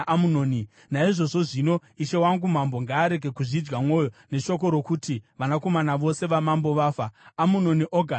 Naizvozvo zvino Ishe wangu mambo ngaarege kuzvidya mwoyo neshoko rokuti vanakomana vose vamambo vafa. Amunoni oga ndiye afa.”